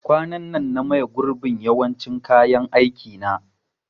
Kwanan nan na maye gurbin yawancin kayan aikin na